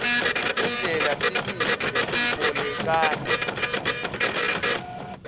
indlela tilwimi letibolekana